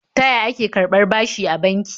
Ta ya ake karɓar bashi a banki?